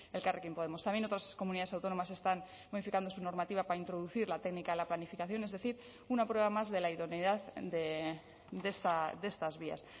elkarrekin podemos también otras comunidades autónomas están modificando su normativa para introducir la técnica a la planificación es decir una prueba más de la idoneidad de estas vías